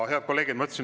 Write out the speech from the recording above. Head kolleegid!